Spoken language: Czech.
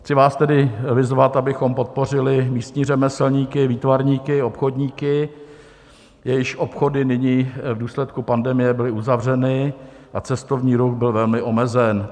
Chci vás tedy vyzvat, abychom podpořili místní řemeslníky, výtvarníky, obchodníky, jejichž obchody nyní v důsledku pandemie byly uzavřeny a cestovní ruch byl velmi omezen.